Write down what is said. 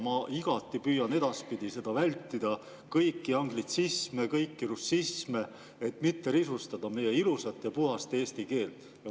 Ma püüan edaspidi igati vältida kõiki anglitsisme ja kõiki russisme, et mitte risustada meie ilusat ja puhast eesti keelt.